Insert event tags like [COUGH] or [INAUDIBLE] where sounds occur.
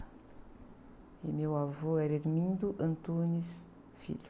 E meu avô era. [UNINTELLIGIBLE]